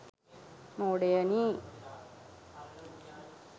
මෝඩයනි !